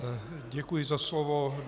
Děkuji za slovo.